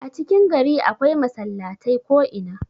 a cikin gari akwai masallatai ko'ina